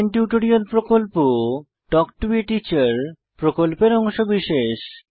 spoken tutorial প্রকল্প talk to a teacher প্রকল্পের অংশবিশেষ